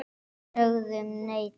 Við sögðum nei, takk!